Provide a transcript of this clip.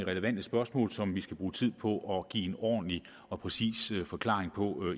relevante spørgsmål som vi skal bruge tid på at give en ordentlig og præcis forklaring på